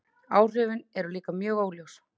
Áhrifin eru líka mjög óljós.